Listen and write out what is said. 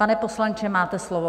Pane poslanče, máte slovo.